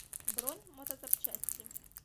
бронь мотозапчасти